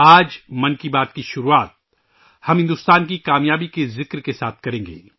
آج ' من کی بات ' کی شروعات ہم ، بھارت کی کامیابی کے ذکر کے ساتھ کریں گے